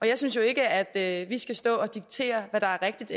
jeg synes jo ikke at at vi skal stå og diktere hvad der er rigtigt